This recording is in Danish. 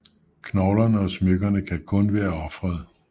Knoglerne og smykkerne kan kun være ofrede